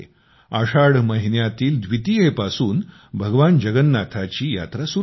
आषाढ महिन्यातील द्वितीयेपासून भगवान जगन्नाथांची यात्रा सुरु होते